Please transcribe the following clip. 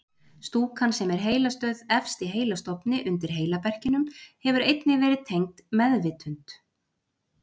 Stúkan sem er heilastöð efst í heilastofni undir heilaberkinum hefur einnig verið tengd meðvitund.